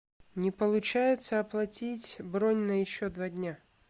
не получается оплатить бронь на еще два дня